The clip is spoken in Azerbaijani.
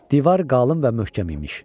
Divar qalın və möhkəm imiş.